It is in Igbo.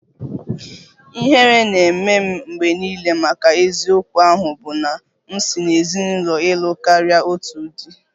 Ihere na-eme m mgbe niile maka eziokwu ahụ bụ na m si n'ezinụlọ ịlụ karịa otu di